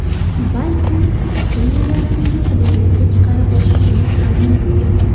Balkim, trenerlarimizni hududlarga chiqarib o‘qitishimiz ham mumkin.